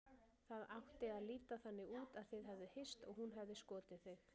Það átti að líta þannig út að þið hefðuð hist og hún hefði skotið þig.